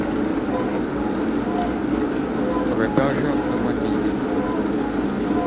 продажа автомобилей